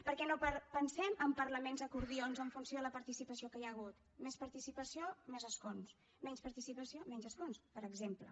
perquè no pensem en parlaments acordions en funció de la participació que hi ha hagut més participació més escons menys participació menys escons per exemple